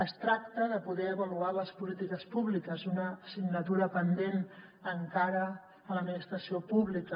es tracta de poder avaluar les polítiques públiques una assignatura pendent encara a l’administració pública